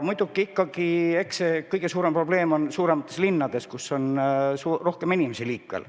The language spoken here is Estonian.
Muidugi, eks kõige suurem probleem on suuremates linnades, kus on rohkem inimesi liikvel.